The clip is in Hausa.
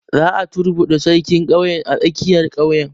Za a turbuɗe sarkin ƙauye a tsakiyar ƙauye